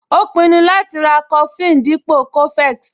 Ó pinnu láti ra coflin dípò cofex